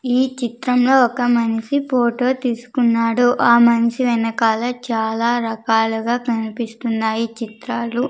ఈ చిత్రంలో ఒక మనిషి ఫోటో తీసుకున్నాడు ఆ మనిషి వెనకాల చాలా రకాలుగా కనిపిస్తున్నాయి చిత్రాలు.